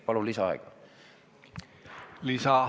Palun lisaaega!